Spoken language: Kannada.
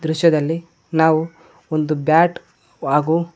ದೃಶ್ಯದಲ್ಲಿ ನಾವು ಒಂದು ಬ್ಯಾಟ್ ಹಾಗೂ--